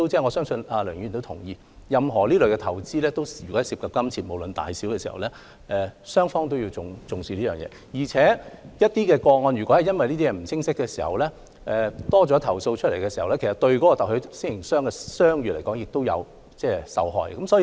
我相信梁議員也同意，任何投資均涉及金錢，無論金額大小，雙方都要重視對合約的理解，而若因雙方對某些事項不清晰，令投訴增多，特許經營商的商譽也會受影響。